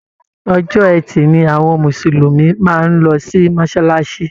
Ọjọ́ Etì ni àwọn mùsùlùmí máa ń lọ sí mọ́sálásí